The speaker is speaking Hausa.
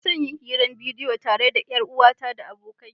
Ina son yin hira ta bidiyo tare da 'yar uwata da abokai.